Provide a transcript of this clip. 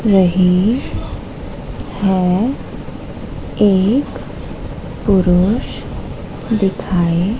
रही है। एक पुरुष दिखाई--